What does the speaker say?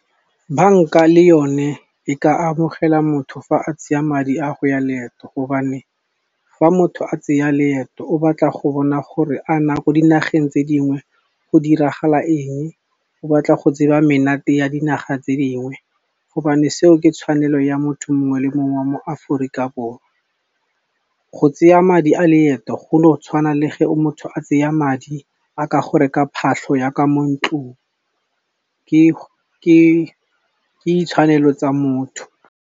Bank-a le yone e ka amogela motho fa a tsaya madi a go ya leeto, gobane fa motho a tseya leeto o batla go bona gore a na ko dinageng tse dingwe go diragala eng. O batla go tseba menate ya dinaga tse dingwe, gobane seo ke tshwanelo ya motho mongwe le mongwe wa mo Aforika Borwa. Go tseya madi a leeto go no tshwana le ge motho a tseya madi a ka go reka phatlho yaka mo ntlong ke ditshwanelo tsa motho.